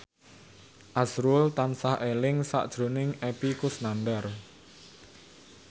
azrul tansah eling sakjroning Epy Kusnandar